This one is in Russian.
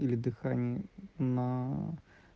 или дыхание на